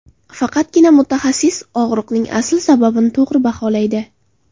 Faqatgina mutaxassis og‘riqning asl sababini to‘g‘ri baholaydi.